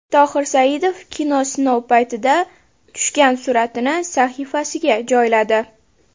Tohir Saidov kino sinov paytida tushgan suratini sahifasiga joyladi.